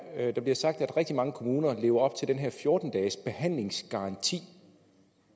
at der bliver sagt at rigtig mange kommuner lever op til den her fjorten dages behandlingsgaranti